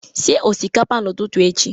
Sie osikapa n'ụtụtụ echi!